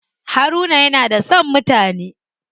Haruna yana da son mutane.